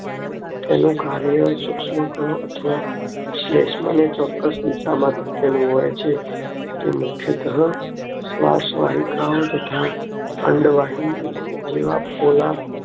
તેના કર્યો સૂક્ષ્મકણો અથવા સ્લેશમ ને ચોક્કસ દિશામાં ધકેલવું હોય છે તે મુખ્યત્વે શ્વસવાહિકાઓ તથા અંડવાહિની જેવા